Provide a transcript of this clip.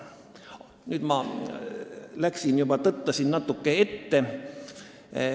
Nüüd ma tõttasin natuke ette.